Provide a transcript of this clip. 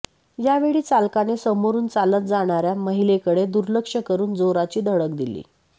यावेळी चालकाने समोरून चालत जाणाऱया महिलेकडे दुर्लक्ष करुन जोराची धडक दिली